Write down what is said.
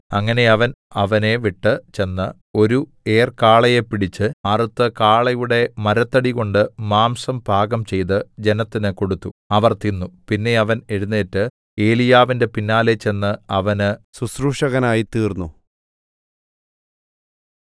അങ്ങനെ അവൻ അവനെ വിട്ട് ചെന്ന് ഒരു ഏർ കാളയെ പിടിച്ച് അറുത്ത് കാളയുടെ മരത്തടി കൊണ്ട് മാംസം പാകംചെയ്ത് ജനത്തിന് കൊടുത്തു അവർ തിന്നു പിന്നെ അവൻ എഴുന്നേറ്റ് ഏലീയാവിന്റെ പിന്നാലെ ചെന്ന് അവന് ശുശ്രൂഷകനായ്തീർന്നു